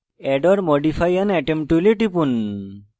add or modify an atom tool টিপুন